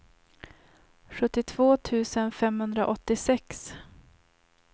sjuttiotvå tusen femhundraåttiosex